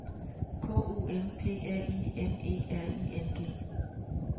K O M P R I M E R I N G